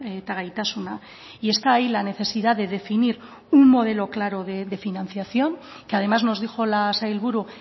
eta gaitasuna y está ahí la necesidad de definir un modelo claro de financiación que además nos dijo la sailburu